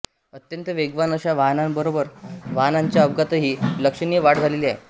अत्यंत वेगवान अशा वाहनांबरोबरच वाहनांच्या अपघातातही लक्षणीय वाढ झालेली आहे